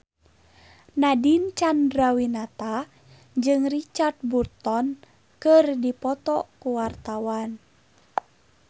Nadine Chandrawinata jeung Richard Burton keur dipoto ku wartawan